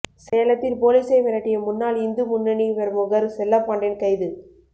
சேலத்தில் போலீசை மிரட்டிய முன்னாள் இந்து முன்னணி பிரமுகர் செல்லப்பாண்டியன் கைது